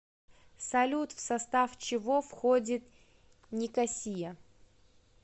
салют в состав чего входит никосия